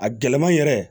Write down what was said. A gɛlɛma yɛrɛ